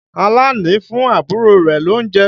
Àlàní fún àbúrò rẹ̀ lóunjẹ.